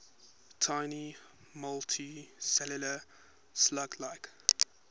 tiny multicellular slug like